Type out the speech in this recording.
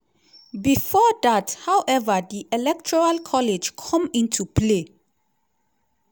bifor dat however di electoral college come into play.